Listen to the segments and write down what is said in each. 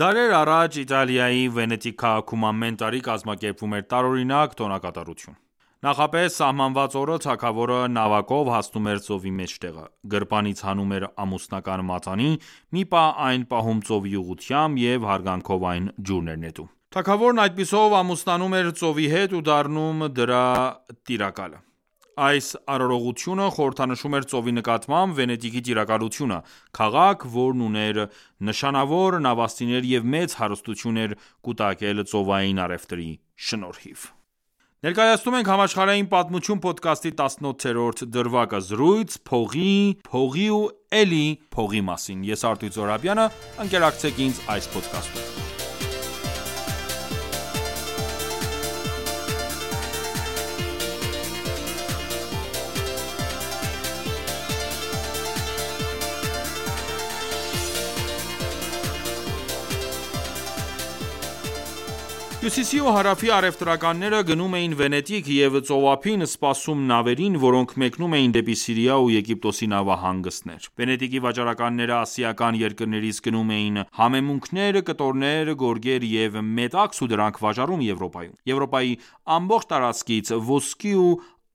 Դարեր առաջ, Իտալիայի Վենետիկ քաղաքում ամեն տարի կազմակերպվում էր տարօրնակ տոնակատարություն։ Նախապես սահմանված օրը թագավորը նավակով հասնում էր ծովի մեջտեղը, գրպանից հանում էր ամուսնական մատանի, մի պահ այն պահում ծովի ուղղությամբ և հարգանքով այն ջուրն էր նետում։ Թագավորն այդպիսով ամուսնանում էր ծովի հետ ու դառնում դրա տիրակալը։ Այս արարողությունը խորհրդանշում էր ծովի նկատմամբ Վենետիկի տիրակալությունը։ Քաղաք, որն ուներ նշանավոր նավաստիներ և մեծ հարստություն էր կուտակել ծովային առևտրի շնորհիվ։ Ներկայացնում ենք «Համաշխարհային պատմություն» փոդքասթի 18-րդ դրվագը։ Զրույց փողի, փողի ու էլի փողի մասին․․․ Հյուսիսի ու հարավի առևտրականները գնում էին Վենետիկ և ծովափին սպասում նավերին, որոնք մեկնում էին դեպի Սիրիայի ու Եգիպտոսի նավահանգիստներ։ Վենետիկի վաճառականները ասիական երկրներից գնում էին համեմունքներ, կտորներ, գորգեր և մետաքս ու դրանք վաճառում Եվրոպայում։ Եվրոպայի ամբողջ տարածքից ոսկե ու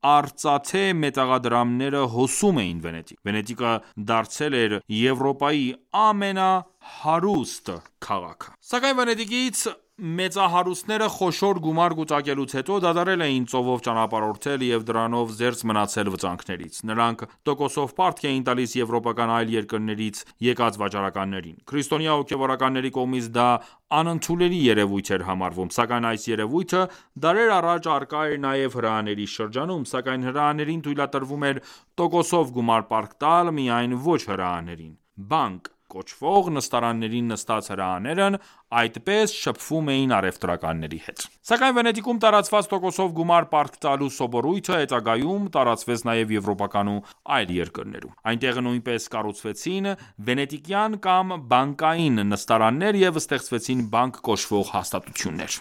արծաթե մետաղադրամները հոսում էին Վենետիկ։ Վենետիկը դարձել էր Եվրոպայի ամենահարուստ քաղաքը։ Սակայն վենետիկցի մեծահարուստները, խոշոր գումար կուտակելուց հետո, դադարել էին ծովով ճանապարհորդել և դրանով զերծ մնացել վտանգներից։ Նրանք տոկոսով պարտք էին տալիս եվրոպական այլ երկրներցի եկած վաճառականներին։ Քրսիտոնյա հոգևորականների կողմից դա աընդունելի երևույթ էր համարվում։ Սակայն այս երևույթը դարեր առաջ առկա էր նաև հրեաների շրջանում, սակայն հրեաներին թույլատրվում էր տոկոսով գումար պարտք տալ միայն ոչ հրեաներին։ «Բանկ» կոչվող նստարաններին նստած հրեաներն այդպես շփվում էին առևտրականների հետ։ Սակայն Վենետիկում տարածված տոկոսով գումար պարտք տալու սովորույթը հետագայում տարածվեց նաև եվրոպական այլ երկրներում։ Այնտեղ նույնպես կառուցվեցին «վենետիկյան» կամ «բանկային» նստարաններ և ստեղծվեցին բանկ կոչվող հաստատություններ: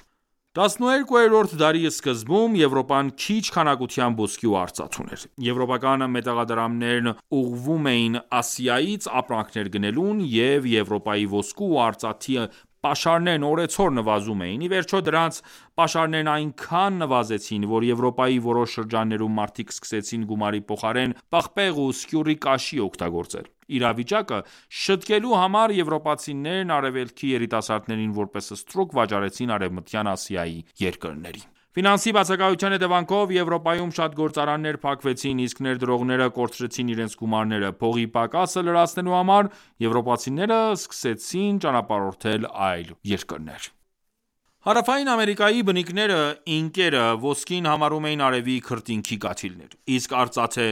12-րդ դարի սկզբում Եվրոպան քիչ քանակությամբ ոսկի ու արծաթ ուներ։ Եվրոպական մետաղադրամներն ուղղվում էին Ասիայից ապրանքներ գնելուն, և Եվրոպայի ոսկու ու արծաթի պաշարներն օերցօր նվազում էին։ Ի վերջո դրանց պաշարներն այնքան նվազեցին, որ Եվրոպայի որոշ շրջաններում մարդիկ սկսեցին գումարի փոխարեն պղպեղ ու սկյուռի կաշի օգտագործել։ Իրավիճակը շըտկելու համար, եվրոպացիներն արևելքի երիտասարդներին որպես ստրուկ վաճառեցին Արևմտյան Ասիայի երկրներին։ Ֆինանսի բացակայության հետևանքով, Եվրոպայում շատ գործարաններ փակվեցին, իսկ ներդրողները կորցրեցին իրենց գումարները։ Փողի պակասը լրացնելու համար, եվրոպացիները սկսեին ճանապարհորդել այլ երկրներ։ Հարավային Ամերիկայի բնիկները՝ ինկերը, ոսկին համարում էին արևի քրտինքի կաթիլներ, իսկ արծաթը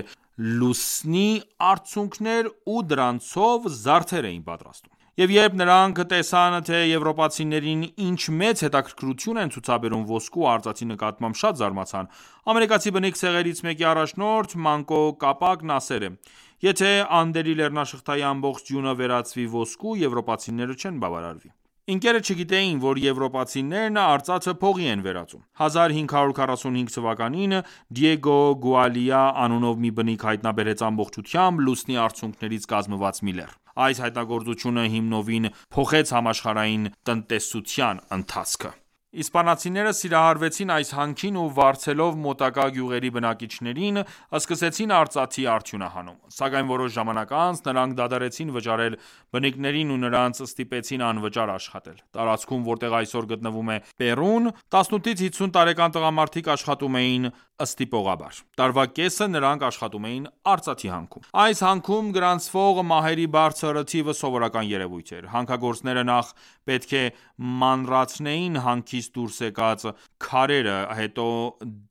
լուսնի արցունքներ ու դրանցով զարդեր էին պատրաստում։ Եվ երբ նրանք տեսան թե եվրոպացիներին ինչ մեծ հետաքրքրություն են ցուցաբերում ոսկու ու արծաթի նկատմամբ, շատ զարմացան։ Ամերիկացի բնիկ ցեղերից մեկի առաջնորդ Մանկո Կապակն ասել է.«Եթե Անդերի լեռնաշղթայի ամբողջ ձյունը վերածվի ոսկու, եվրոպացիները չեն բավարարվի»։ Ինկերը չգիտեին, որ եվրոպացինեն արծաթը փողի են վերածում։ 1545 թ.-ին Դիեգո Գուալիա անունով մի բնիկ հայտնաբերեց ամբողջությամբ «լուսնի արցունքներից» կազմված մի լեռ։ Այս հայտնագործությունը հիմնովին փոխեց համաշխարհային տնտեսության ընթացքը։ Իսպանացիները «սիրահարվեին» այս հանքին ու վարձելով մոտակա գյուղերի բնակիչներին, սկսեցին արծաթի արդյունահանումը։ Սակայն որոշ ժամանակ անց, նրանք դադարեցին վճարել բնիկներին ու նրանց ստիպեցին անվճար աշխատել։ Տարածքում, որտեղ այսօր գտնվում է Պերուն, 18-50 տարեկան տղամարդիկ աշխատում էին ստիպողաբար ։ Տարվա կեսը նրանք աշխատում էին արծաթի հանքում։ Այս հանքում գրանցվող մահերի բարձր թիվը սովորական երևույթ էր։ Հանքագործները նախ պետք է մանրացնեին հանքից դուրս բերված քարերը, հետո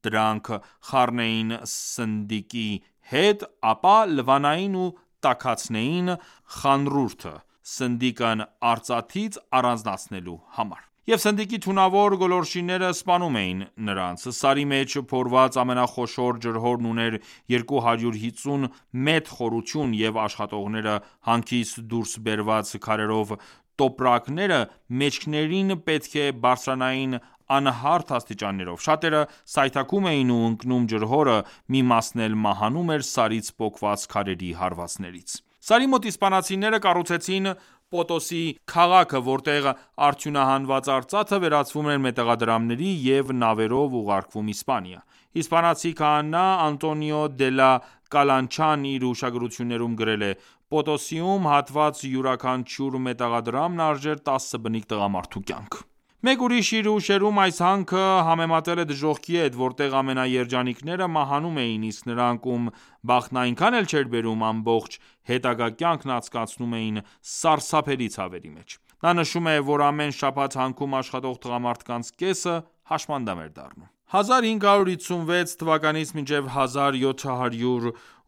դանք խառնեին սնդիկի հետ, ապա լվանային ու տաքացներին խանռուրդը՝ սնդիկն արծաթից առանձնացնելու համար։ Եվ սնդիկի թունավոր գոլորշիները սպանում էին նրանց։ Սարի մեջ փորված ամենախոշոր ջրհորն ուներ 250 մետր խորություն։ Եվ աշխատողները հանքից դուրս բերված քարերով տոպրակները մեջքներին պետք է բարդձրանային անհարթ աստիճաններուվ։ Շատերը սայթաքում էին ու ընկնում ջրհորը։ Մի մասն էլ մահանում էր սարից պոկված քարերի հարվածներից։ Սարի մոտ իսպանացիները կառուցեցին Պոտոսի քաղաքը, որտեղ արդյունահանված արծաթը վերածվում էր մետաղադրամների և նավերով ուղարկվում Իսպանիա։ Իսպանացի քահանա Անտոնիո դե լա Կալանչան իր հուշագրություններում գրել է․ «Պոտոսիում հատված յուրաքանչյուր մետաղադրամն արժեր տասը բնիկ տղամարդու կյանք»։ Մեկ ուրիշն իր հուշերում այս հանքը համեմատել է դժոխքի հետ, որտեղ ամենաերջանիկները մահանում էին, իսկ նրանք, ում բախտն այնքան էլ չէր բերում, ամբողջ հետագա կյանքն անցկացնում էին սարսափելի ցավերի մեջ։ Նա նշում է, որ ամեն շաբաթ, հանքում աշխատող տղամարդկանց կեսը հաշմանդամ էր դառնում։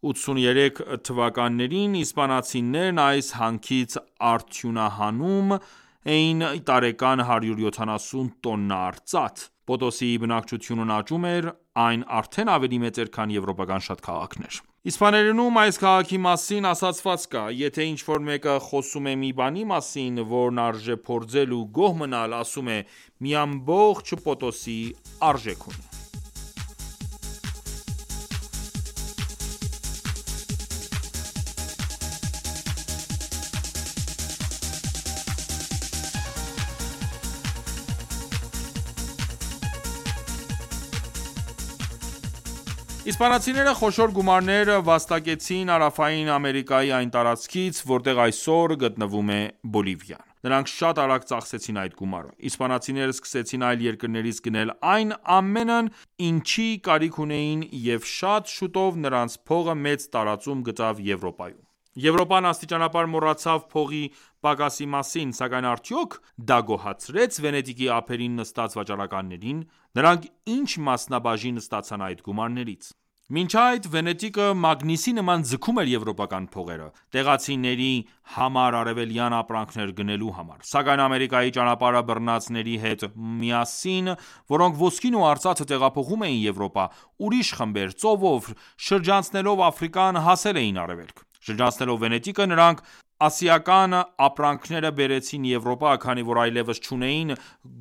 1556-1783 թվականներին իսպանացիներն այս հանքից արդյունահանում էին տարեկան 170 տոննա արծաթ։ Պոտոսիի բնակչությունն աճում էր։ Այն արդեն ավելի մեծ էր, քան եվրոպական շատ քաղաքներ։ Իսպաներենում այս քաղաքի մասին ասացվածք կա։ Եթե ինչ-որ մեկը խոսում է մի բանի մասին, որն արժե փորձել ու գոհ մնալ, ասում է․ «Մի ամբողջ Պոտոսի արժեք ունի»։ Իսպանացիները խոշոր գումարներ վաստակեցին Հարավային Ամերիկայի այն տարածքից, որտեղ այսօր գտնվում է Բոլիվիան։ Նրանք շատ արագ ծախսեցին այդ գումարը։ Իսպանացիները սկսեցին այլ երկրներից գնել այն ամենն ինչի կարիքն ունեին և շատ շուտով նրանց փողը մեծ տարածում գտավ Եվրոպայում։ Եվրոպան աստիճանաբար մոռացավ փողի պակասի մասին։ Սակայն արդյոք դա գոհացրե՞ց Վենետիկի ափերին նստած վաճառականներին։ Նրանք ի՞նչ մասնաբաժին ստացան այդ գումարներից։ Մինչ այդ, Վենետիկը մագնիսի նման ձգում էր եվրոպական փողերը՝ տեղացինբերի համար արևելյան ապրանքներ գնելու համար։ Սակայն Ամերիկայի ճանապարհը բռնածների հետ միասին, որոնք ոսկին ու արծաթը տեղափոխում էին Եվրոպա, ուրիշ խմբեր, ծովով, շրջանցելով Աֆրիկան, հասել էին Արևելք։ Շրջանցելով Վենետիկը, նրանք ասիկան ապրանքները բերեցին Եվրոպա, քանի որ այլևս չունեին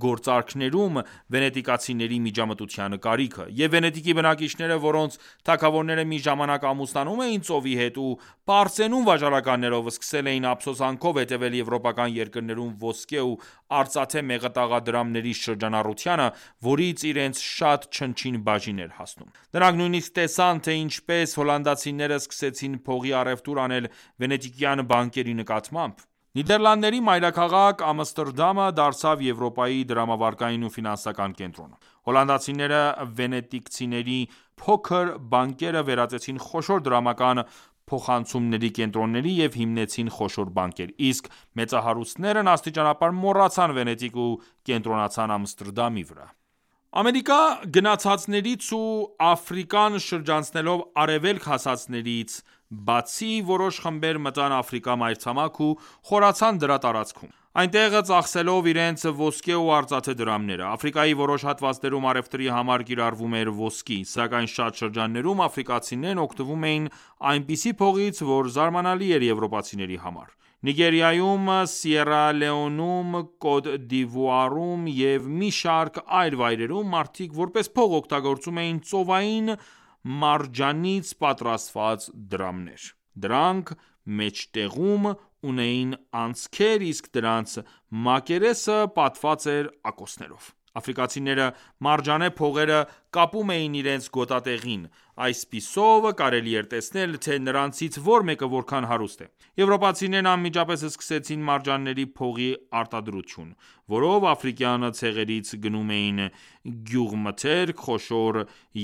գործարքներում վենետիկցիների միջամտության կարիքը։ Եվ Վենետիկի բնակիչները, որոնց թագավորները մի ժամանակ ամուսնանում էին ծովի հետ, ու պարծենում վաճառականներով, սկսել էին ափսոսանքով հետևել եվրոպական երկրներում ոսկե ու արծաթե մետաղադրամների շրջանառությանը, որից իրենց շատ չնչին բաժին էր հասնում։ Նրանք նույնիսկ տեսան, թե ինչպես հոլանդացիները, սկսեցին փողի առևտուր անել, վենետիկյան «բանկերի» նմանակմամբ։ Նիդերլանդների մայրաքաղաք Ամստերդամը դարձավ Եվրոպայի դրամավարկային ու ֆինանսական կենտրոնը։ Հոլանդացիները վենետիկցիների փոքր «բանկերը» վերածեցին խոշոր դրամական փոխանցումների կենտրոնների և հիմնեցին խոշոր բանկեր։ Իսկ մեծահարուստներրն աստիճանաբար մոռացան Վենետիկը ու կենտրոնացան Ամստերդամի վրա։ Ամերիկա գնացածներից ու Աֆրիկան շրջանցելով Արևելք հասածներից բացի, որոշ խմբեր մտան Աֆրիկա մայրցամաք ու խորացան դրա տարածքում, այնտեղ ծախսելով իրենց ոսկե ու արծաթե դրամները։ Աֆրիկայի որոշ հատվածներում առևտրի համար կիրառվում էր ոսկի։ Սակայն շատ շրջաններում, աֆրիկացիներն օգտվում էին այնպիսի փողից, որ զարմանալի էր եվրոպացիների համար։ Նիգերիայում, Սիերա Լեոնեում, Կոտ դ'Իվուարում և մի շարք այլ վայրերում մարդիկ որպես փող օգտագործում էին ծովային մարջանից պատրաստված դրամներ։ Դրանք մեջտեղում ունեին անցքեր իսկ դրանց մակերեսը պատված էր ակոսներով։ Աֆրիկացիները մարջանե փողերը կապում էին իրենց գոտկատեղին։ Ասպիսով կարելի էր տեսնել, թե նրանցից որ մեկը որքան հարուստ է։ Եվրոպացիներն անմիջապես սկեցին մարջանների փողի արտադրություն, որով աֆրիկյան ցեղերից գնում էին գյուղմթերք, խոշոր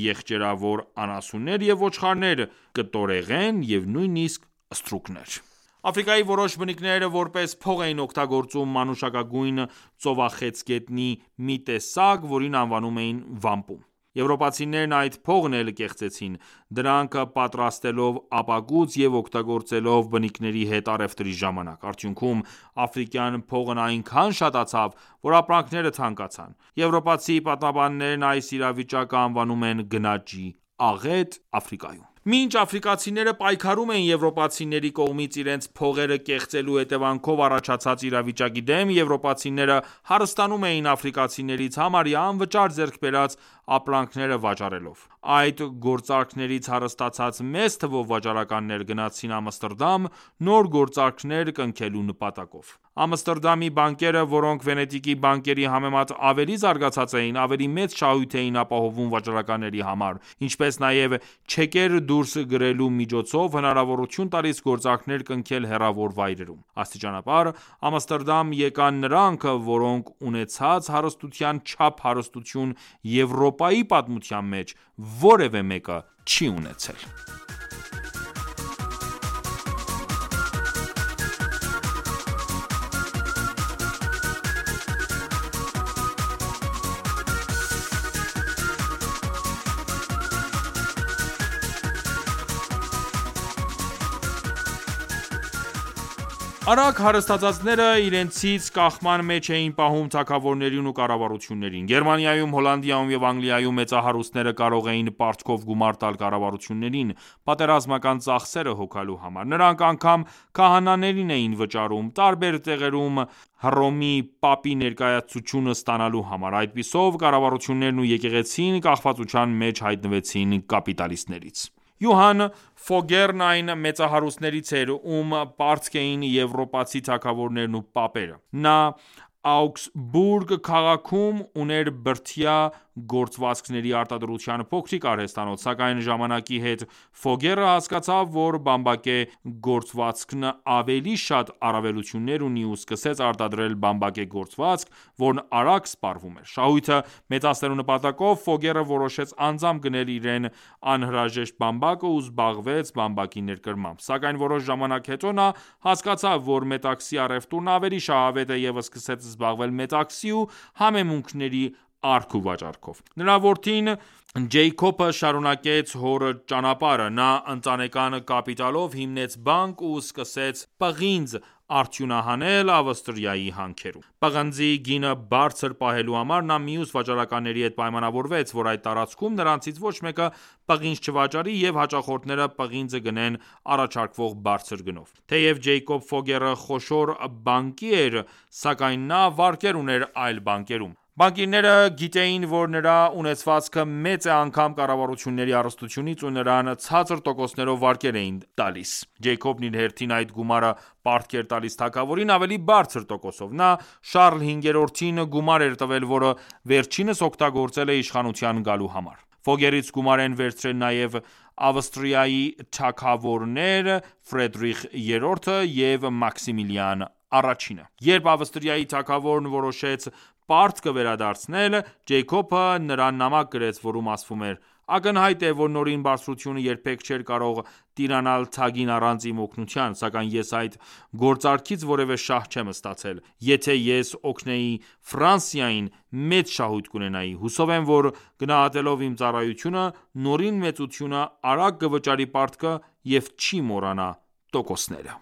եղջերավոր անասուններ և ոչխարներ, կտորեղեն և նույնիսկ ստրուկներ։ Աֆրիկայի որոշ բնիկներ որպես փող էին օգտագործում մանուշակագույն ծովախեցգետնի մի տեսակ, որին անվանում էին «վամպում»: Եվրոպացիներըն այդ փողն էլ կեղծեցին, դրանք պատրաստելով ապակուց և օգտագործելով բնիկների հետ առևտրի ժամանակ։ Արդյունքում աֆրիկյան փողն այնքան շատացավ, որ ապրանքները թանկացան։ Եվրոպացի պատմաբաններն այս իրավիճակը անվանում են «գնաճի աղետ» Աֆրիկայում։ Մինչ աֆրիկացիները պայքարում էին եվորապացիների կողմից իրենց փողերը կեղծելու հետևանքով առաջացած իրավիճակի դեմ, եվրոպացիները հարստանում էին աֆրիկացիներից համարյա անվճար ձեռք բերած ապրանքները վաճառելով։ Այդ գործարքներից հարստացած մեծ թվով վաճառականներ գնացին Ամստերդամ՝ նոր գործարքեր կնքելու նպատակով։ Ամստերդամի բանկերը, որոնք Վենետիկի բանկերի համեմատ ավելի զարգացած էին, ավելի մեծ շահույթ էին ապահովում վաճառականների համար, ինչպես նաև չեկեր դուրս գերոլու միջոցով հնարավորություն տալիս գործարքներ կնքել հեռավոր վայրերում։ Աստիճանաբար, Ամստերդամ եկան նրանք, որոնց ունեցած հարստության չափ հարստություն Եվրոպայի պատմության մեջ որևէ մեկը չի ունեցել։ Արագ հարստսցածները իրենցից կախման մեջ էին պահում թագավորներին ու կառավարություններին։ Գերմանիայում, Հոլանդիայում և Անգլիայում մեծահարուստները կարող էին պարտքով գումար տալ կառավարություններին՝ պատերազմական ծախսերը հոգալու համար։ Նրանք անգամ քահանաներին էին վճարում՝ տարբեր տեղերում Հտռոմի Պապի ներկայացուցչությունը ստանալու համար։ Այդպիսով կառավարություններն ու եկեղեցին կախվածության մեջ հայտնվեցին կապիտալրստներից։ Յոհան Ֆոգերն այն մեծահարուստներից էր, ում պարտք էին եվրոպացի թագավորներն ու Պապերը։ Նա Աուգսբուրգ քաղաքոմ ուներ բրդյա գործվածքների արտադրության փոքրիկ արհեստանոց։ Սակայն ժամանակի հետ Ֆոգերը հասկացավ, որ բամբակե գործբվածքն ավելի շատ առավելություններ ունի ու սկսեց արտադրել բամբակե գործվածք, որն արագ սպառվում էր։ Շահույթը մեծացնելու նպատակով, Ֆոգերը որոշեց անձամբ գնել իրեն անհրաժեշտ բամբակը ու զբաղվեց բամբակի ներկրմամբ։ Սակայն որոշ ժամանակ հետո նա հասկացավ, որ մետքասի առևտուրն ավելի շահավետ է և սկսեց զբաղվել մետաքսի ու համեմունքների առք ու վաճառքով։ Նրա որդին՝ Ջեյքոբը, շարունակեց հոր ճանապարհը։ Նա ընտանեկան կապիտալով հիմնեց «բանկ» ու սկսեց պղինձ արդյունահանել Ավստիրայի հանքերում։ Պղնձի գինը բարձր պահելու համար, նա մյուս վաճառականների հետ պայմանավորվեց, որ այդ տարածքում նրանցից ոչ մեկը պղինձ չվաճառի և հաճախորդները պղինձը գնեն առաջարկվող բարձր գնով։ Թեև Ջեյքոբ Ֆոգերը խոշոր բանկիր էր, սակայն նա վարկեր ուներ այլ բանկերում։ Բանկիրները գիտեին, որ նրա ունեցվածքը մեծ է անգամ կառավարությունների հարստությունից ու նրան ցածր տոկոսներով վարկեր էին տռալիս։ Ջեյքոբն իր հերթին այդ գումարը պարտք էր տալիս թագավորին ավելի բարձր տոկոսով։ Նա Շառլ V-ին գումար է տվել, որը վերջինս օգտագործել է իշխանության գալու համար։ Ֆոգերից գումար են վերցրել նաև նաև Ավստրիայի թագավորներ Ֆրիդրիխ III-ը և Մաքսիմիլիան I-ը։ Երբ Ավստրիայի թագավորն ուշացրեց պարտքի վերդարձը, Ջեյքոբը նարն նամակ գրեց, որում ասվում էր․ «Ակնհայտ է, որ Նորին Բարձրությունը երբեք չէր կարող տիրանալ թագին առանց իմ օգնության։ Սակայն ես այդ գործարքից որևէ շահ չեմ ստացել։ Եթե ես օգնեի Ֆրանսիային, մեծ շահույթ կունենայի։ Հուսով եմ, որ գնահատելով իմ ծառայությունը, Նորին մեծությունը արագ կվճարի պարտքը և չի մոռանա տոկոսները»: